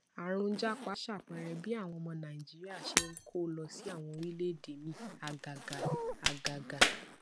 àrùn japa ṣàpẹẹrẹ bí àwọn ọmọ nàìjíríà ṣe ń kó lọ sí àwọn orílèèdè míì àgàgà àgàgà